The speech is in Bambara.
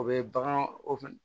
O bɛ bagan o fɛn